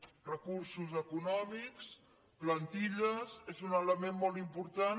recursos econòmics plantilles és un ele·ment molt important